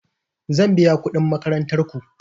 Zan biya kuɗin makarantar ku.